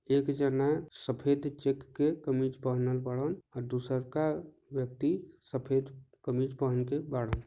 एक जना सफेद चेक के कमीज़ पहने बाड़न और दूसरा का व्यक्ति सफेद कमीज़ पहन के बाड़न।